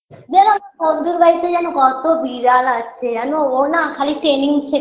জানো বন্ধুর বাড়িতে জানো কত বিড়াল আছে জানো ও না খালি training শেখায়